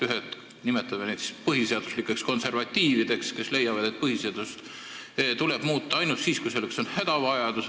Ühed – nimetame neid põhiseaduslikeks konservatiivideks – leiavad, et põhiseadust tuleb muuta ainult siis, kui selleks on hädavajadus.